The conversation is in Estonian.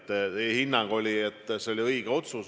Teie hinnang oli, et see oli õige otsus.